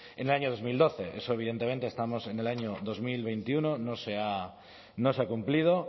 en el año dos mil doce eso evidentemente estamos en el año dos mil veintiuno no se ha cumplido